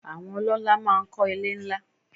Àwọn ọlọ́lá máa ń kọ́ ilé ńlá.